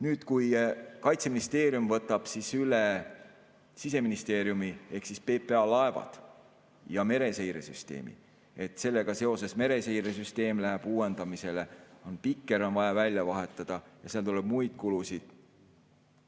Nüüd, kui Kaitseministeerium võtab üle Siseministeeriumi ehk PPA laevad ja mereseiresüsteemi, sellega seoses mereseiresüsteem läheb uuendamisele, Pikker on vaja välja vahetada ja seal tuleb muid kulusid.